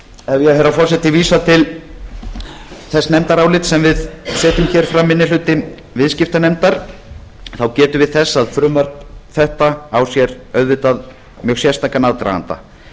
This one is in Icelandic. herra forseti vísa til þess nefndarálits sem við setjum hér fram minni hluti viðskiptanefndar gefa við þess að frumvarp þetta á sér auðvitað mjög sérstakan aðdraganda